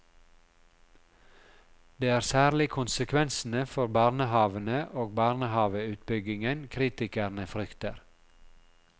Det er særlig konsekvensene for barnehavene og barnehaveutbyggingen kritikerne frykter.